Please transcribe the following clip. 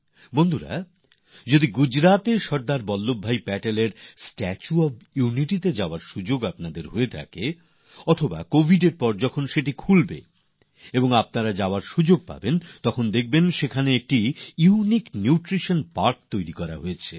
বন্ধুরা আপনাদের হয়তো গুজরাটে সরদার বল্লভভাই প্যাটেলের স্টাচু অব ইউনিটি দেখতে যাওয়ার সুযোগ হয়েছে আর কোভিডের পর যখন খুলবে আর আপনার যাওয়ার সুযোগ হবে তো দেখবেন সেখানে একটি বিশেষ ধরণের নিউট্রিশন পার্ক বানানো হয়েছে